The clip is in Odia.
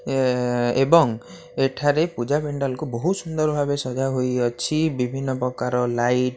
ଏ ଏ ଏବଂ ଏଠାରେ ପୂଜା ପେଣ୍ଡାଲ କୁ ବୋହୁତ୍ ସୁନ୍ଦର୍ ଭାବେ ସଜା ହେଇଅଛି ବିଭିନ୍ନ ପ୍ରକାର ଲାଇଟ୍ --